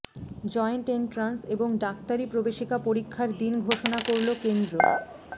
joint entrance এবং ডাক্তারি প্রবেশিকা পরীক্ষার দিন ঘোষণা করল কেন্দ্র